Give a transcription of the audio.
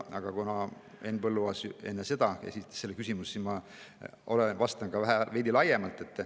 Aga kuna Henn Põlluaas esitas oma küsimuse enne, siis ma vastan veidi laiemalt.